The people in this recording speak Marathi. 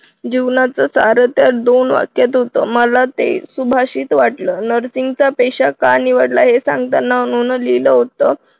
जीवनाच सार या दोन वाक्यात होतं मला ते सुभाषित वाटलं. nursing चा पेशा का निवडला आहे हे सांगताना अणून लिहिलं होतं.